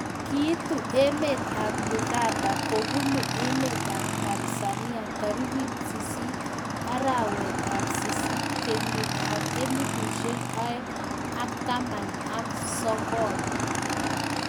Kiitu emeet ap Uganda kobunuu emeet ap Tanzania tarikit sisit arawet ap sisit kenyit ap elfusiek oeng an taman ak sokol